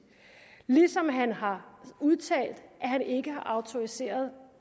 ligesom han har udtalt at han ikke har autoriseret